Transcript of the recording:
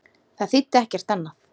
Það þýddi ekkert annað.